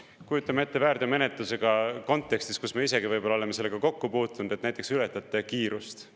Kujutame ette väärteomenetluse kontekstis, kus me isegi võib-olla oleme sellega kokku puutunud, näiteks ületate kiirust.